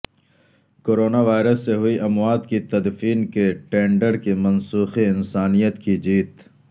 corona virus سے ہوئی اموات کی تدفین کے ٹینڈر کی منسوخی انسانیت کی جیت